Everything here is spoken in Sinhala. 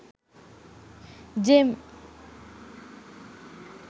gem